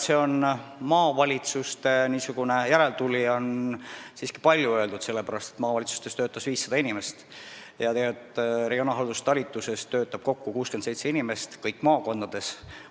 Maavalitsuste järeltulija on selle kohta siiski palju öeldud: kui maavalitsustes töötas 500 inimest, siis regionaalhalduse osakonna talitustes töötab kokku 67 inimest kõikides maakondades.